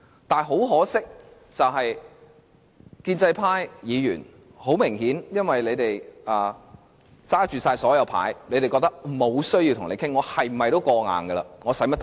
不過，可惜的是，建制派議員顯然因為他們手握大多數票，無論如何皆會通過決議案，因此認為無需討論。